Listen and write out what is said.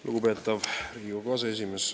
Lugupeetav Riigikogu aseesimees!